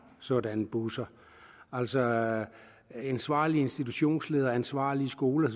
sådanne busser altså ansvarlige institutionsledere og ansvarlige skoler